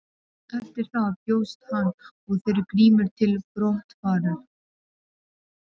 Eftir það bjóst hann og þeir Grímur til brottfarar.